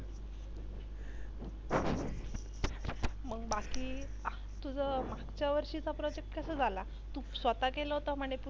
मग बाकी तुझा मागच्या वर्षीचा Project कसा झाला तू स्वतः केला होता म्हणे पूर्ण